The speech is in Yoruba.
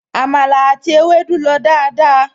Àmàlà àti ewédú lọ dáadáa